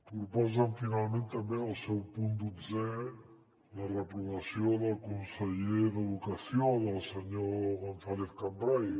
proposen finalment també en el seu punt dotzè la reprovació del conseller d’educació del senyor gonzàlez cambray